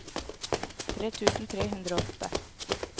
tre tusen tre hundre og åtte